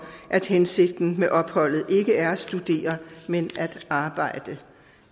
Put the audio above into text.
at hensigten med opholdet ikke er at studere men at arbejde